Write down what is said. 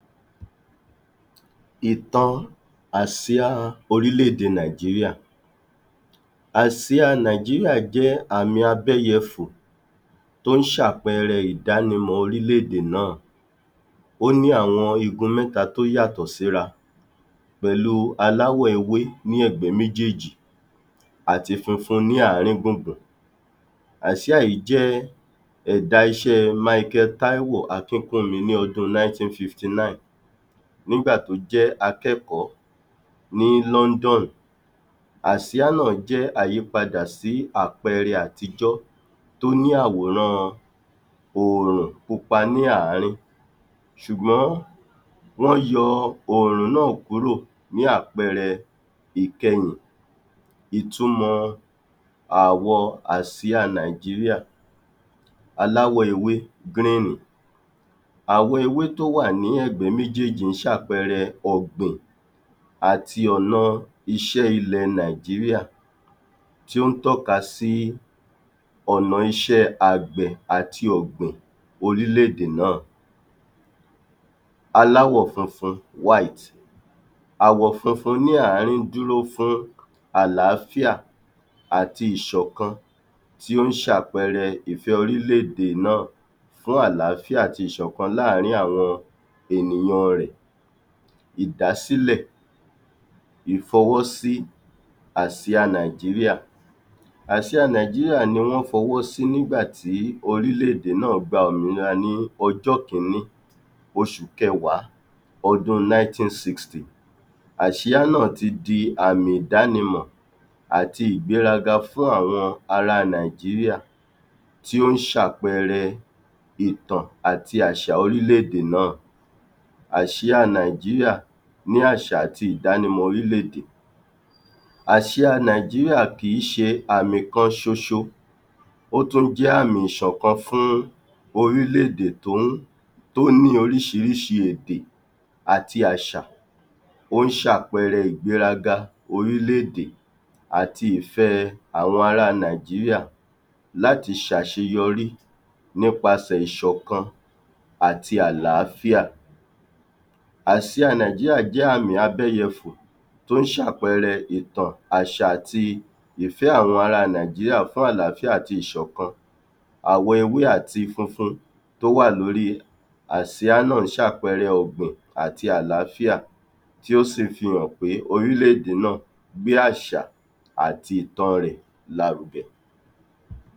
Ìtàn àsíá orílẹ́ èdè nàìjíríá àsíá nàìjíríá jẹ́ ìtàn abẹ́yẹfùn tó ń ṣà’péére ìdánimọ̀ orílẹ́ èdè náà, óní àwọn igun mẹ́ta tó yàtọ̀ síra pèlú aláwọ̀ ewé ní ẹ̀gbẹ́ méjééjì àti funfun ní àarín gbùngbùn àsíá yìí jẹ́ èdá iṣẹ́ Míkèl Táíwò Akíńkúńmi ní ọdún ninety fifty nine nígbà tó jẹ́ akékòó ní lọ́ńdọ̀nì àsíá náà jẹ́ àyípadà sí àpẹ́ẹ́rẹ́ àtijọ́ tó ní àwòrán òòrùn púpá ní àarín sùgbọ́n wọ́n yọ òòrùn náà kúrò ní àpẹ́ẹ́rẹ́ ìkẹyìn ìtumọ̀ àwọ̀ àsíá nàìjíríá aláwọ̀ ewé gríínì àwọ̀ ewé tó wà ní ẹ̀gbẹ́ méjééjì ń ṣa’pẹ́ẹ́rẹ́ ọ̀gbìn àti ọ̀nà iṣẹ́ ìlẹ̀ nàìjíríá tíó ń tọ́ka sí ọ̀nà iṣẹ́ àgbẹ̀ àti ọ̀gbìn orílẹ́ èdè náà aláwọ̀ funfun àwọ̀ funfun dúró fún àlááfíà àti ìṣọ̀kan tí ó ṣà’péére ìfẹ́ orílẹ́ èdè náà fún àlááfíà àti ìṣọ̀kan láàrín àwọn ènìyàn rẹ̀ ìdàsílẹ̀ ìfọwósi àsíá nàìjíríá. àsíá nàìjíríá ni wọ́n fọwọ́sí nígbà tí orílẹ́ èdè náà gbà òmìnira ní ọjọ́ kińńí òsù kẹ̀ẹ̀wá ọdún ninety sixty àsíá náà tí dí àmì ìdánimọ̀ àti ìgbéraga fún àwọn ará nàìjíríá tó ń ṣà’péére ìtàn àti àṣà orílẹ́ èdè náà àsíá nàìjíríá ni àṣà àti ìdánìmọ̀ àsìà nàìjíríá kìí ṣe àmì kan ṣoṣo ótún jẹ́ àmì ìṣọ̀kan fún orílẹ́ èdè tó ń tó ní oríṣirísi èdè àti àṣà tó ń ṣà’péére ìgbéraga orílẹ́ èdè àti ìfẹ́ àwọn ará nàìjíríá láti ṣà’ṣeyorí nípasẹ̀ ìṣọ̀kan àti àlááfíà àsíá nàìjíríá jẹ́ àmì abẹ́yẹfùn tó ń ṣà’péére ìtàn àṣà àti ìfẹ́ àwọn ará nàìjíríá fún àlááfíà àti ìṣọ̀kan àwọ̀ ewé àti funfun tó wà lóri àsìà náà ṣà’péére ọ̀gbìn àti àlááfíà tí ó sì fí hàn pé orílẹ́ èdè náà gbé àṣà àti ìtaǹ rẹ̀ lárugẹ.